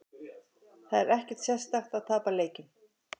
Það er ekkert sérstakt að tapa leikjum.